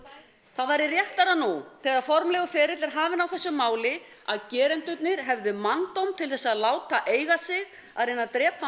það væri réttara nú þegar formlegur ferill er hafinn á þessu máli að gerendurnir hefðu manndóm til að láta eiga sig að reyna að drepa